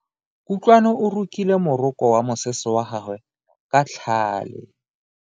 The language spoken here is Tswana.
Kutlwano o rokile moroko wa mosese wa gagwe ka tlhale.